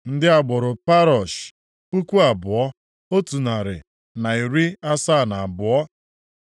Ndị agbụrụ Parosh, puku abụọ, otu narị na iri asaa na abụọ (2,172).